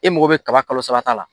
E mako bɛ kaba kalo saba ta la.